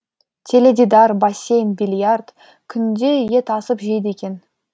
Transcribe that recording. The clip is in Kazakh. теледидар бассейн биллиард күнде ет асып жейді екен